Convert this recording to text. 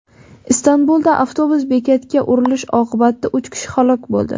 Istanbulda avtobus bekatga urilishi oqibatida uch kishi halok bo‘ldi.